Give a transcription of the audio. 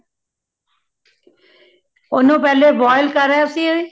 ਓਨੁ ਪਹਿਲੇ boil ਕਰਯਾ ਸੀ